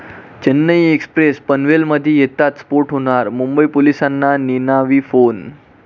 Chennai express पनवेलमध्ये येताच स्फोट होणार, मुंबई पोलिसांना निनावी फोन